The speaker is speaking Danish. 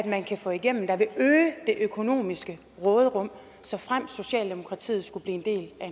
man kan få igennem der vil øge det økonomiske råderum såfremt socialdemokratiet skulle blive